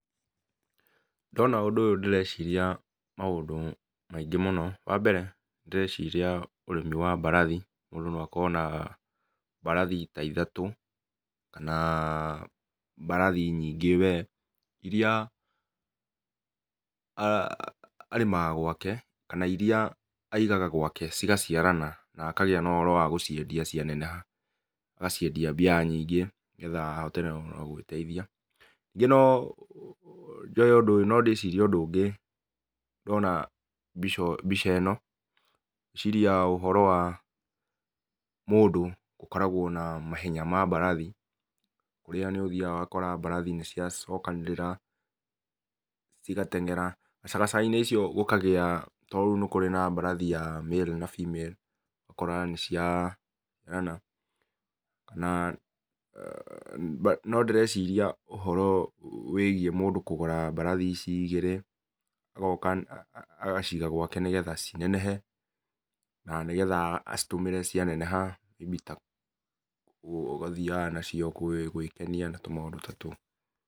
Ndona ũndũ ũyũ ndĩreciria maũndũ maingĩ mũno. Wa mbere ndĩreciria ũrĩmi wa mbarathi, mũndũ no akorwo nambarathi ta ithatũ, kana mbarathi nyingĩ we, iria arĩmaga gwake kana iria aigaga gwake cigaciarana na akagĩa na ũhoro wa gũciendia cianeneha, agaciendia mbia nyingĩ nĩgetha ahote mũno gwĩteithia. Ningĩ no njoe ũndũ ũyũ no ndĩcirie ũndũ ũngĩ ndona mbica ĩno, ngeciria ũhoro wa mũndũ ũkoragwo na mahenya ma mbarathi, kũrĩa nĩũthiaga ũgakora mbarathi nĩciacokanĩrĩra cigatengera. Gacagaca-inĩ icio gũkagĩa to rĩu nĩ kũrĩ na mbarathi ya male na female ũgakora nĩ ciagana na no ndĩreciria ũhoro wĩgie mũndũ kũgũra mbarathi ici igĩrĩ agoka agaciga gwake nĩgetha cinenehe na nĩgetha acitũmĩre cianeneha inyitagwo ũgathiaga nacio gwĩkenia na tũmaũndũ ta tũu.